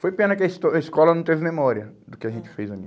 Foi pena que a esco escola não teve memória do que a gente fez ali.